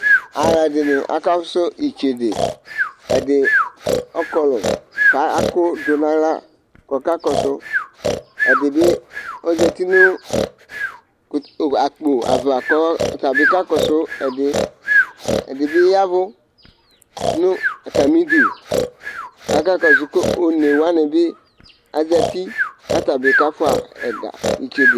Alʋ ɛdɩnɩ aka fʋsʋ itsedeƐdɩ ɔkɔlʋ kʋ akʋ dʋ naɣla kɔka kɔsʋ, ɛdɩ bɩ ozati nʋ akpo ava kʋ ɔta bɩ ka kɔsʋ ɛdɩƐdɩ bɩ yavʋ nʋ atamɩ idu kaka kɔsʋ kʋ one wanɩ bɩ azati kʋ ata bɩ ka fʋa ɛga , itsede